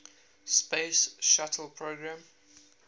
space shuttle program